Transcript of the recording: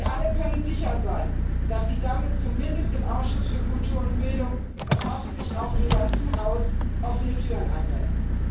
Sie alle können sicher sein, dass sie damit zumindest im Ausschuss für Kultur und Bildung und hoffentlich auch im ganzen Haus offene Türen einrennen.